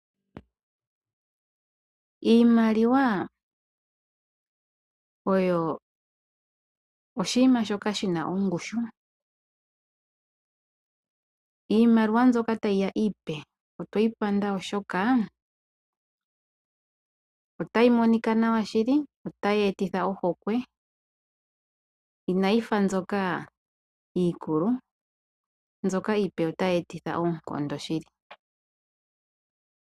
Iimaliwa oyo oshinima shoka shi na ongushu. Iimaliwa mbyoka tayi ya iipe otweyi panda oshoka otayi monika nawa shili, otayi etitha ohokwe inayi fa mbyoka iikulu. Iimaliwa iipe otayi etitha oonkondo shili.